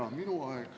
Jaa, minu aeg.